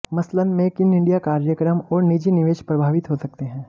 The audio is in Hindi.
मसलन मेक इन इंडिया कार्यक्रम और निजी निवेश प्रभावित हो सकते हैं